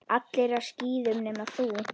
Allir á skíðum nema þú.